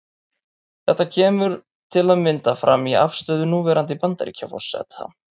Þetta kemur til að mynda fram í afstöðu núverandi Bandaríkjaforseta.